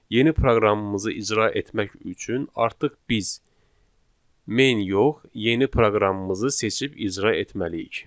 Yeni proqramımızı icra etmək üçün artıq biz main yox, yeni proqramımızı seçib icra etməliyik.